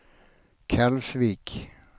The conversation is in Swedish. Kalvsvik